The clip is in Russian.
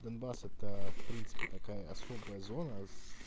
донбасс это в принципе такая особая зона с